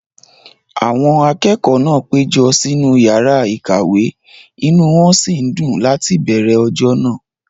Àwọn akẹ́kọ̀ọ́ náà péjọ sínú yàrá ìkàwé, inú wón sì ń dùn láti bẹ̀ẹ̀rẹ̀ ọjọ́ náà